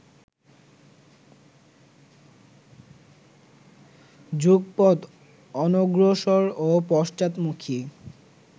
যুগপৎ অনগ্রসর ও পশ্চাৎমুখী